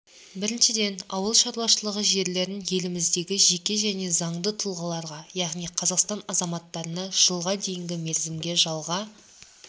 біріншіден ауыл шаруашылығы жерлерін еліміздегі жеке және заңды тұлғаларға яғни қазақстан азаматтарына жылға дейінгі мерзімге жалға